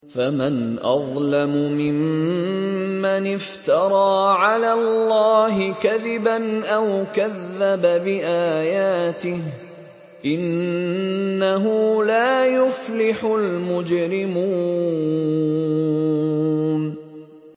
فَمَنْ أَظْلَمُ مِمَّنِ افْتَرَىٰ عَلَى اللَّهِ كَذِبًا أَوْ كَذَّبَ بِآيَاتِهِ ۚ إِنَّهُ لَا يُفْلِحُ الْمُجْرِمُونَ